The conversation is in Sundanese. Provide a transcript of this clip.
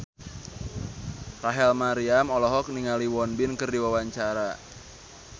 Rachel Maryam olohok ningali Won Bin keur diwawancara